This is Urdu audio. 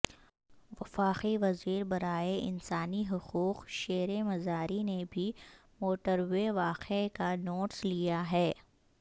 وفاقی وزیر برائے انسانی حقوق شیریں مزاری نے بھی موٹروے واقعے کا نوٹس لیا ہے